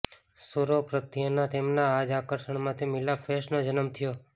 સૂરો પ્રત્યેના તેમના આ જ આકર્ષણમાંથી મિલાપ ફેસ્ટનો જન્મ થયો